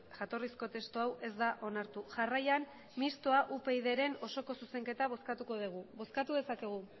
jatorrizko testu hau ez da onartu jarraian mistoa upydren oso zuzenketa bozkatuko dugu bozkatu dezakegu